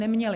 Neměli.